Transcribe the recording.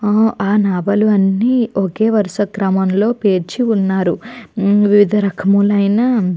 ఆ ఆ నావలు అన్ని ఒకే వరుస క్రమంలో పేర్చి ఉన్నారు. వివిధ రకములైన --